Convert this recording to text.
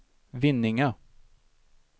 Vinninga